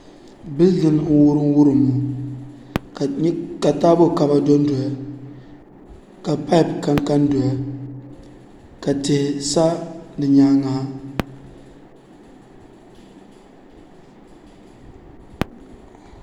Bildin n wurim wurim ka taabo kaba dondoya ka paip kanka n doya ka tihi sa di nyaangi ha